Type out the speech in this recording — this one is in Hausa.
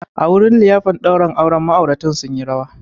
A wurin liyafar daurin aure, ma'auratan sun yi rawa